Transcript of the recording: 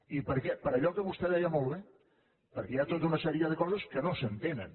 i per què per allò que vostè deia molt bé perquè hi ha tota una sèrie de coses que no s’entenen